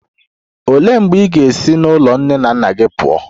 Olee mgbe ị ga-esi n'ụlọ nne na nna gị pụọ?